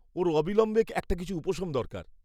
ওর অবিলম্বে একটা কিছু উপশম দরকার।